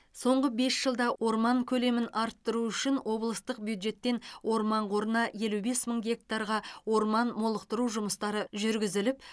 соңғы бес жылда орман көлемін арттыру үшін облыстық бюджеттен орман қорына елу бес мың гектарға орман молықтыру жұмыстары жүргізіліп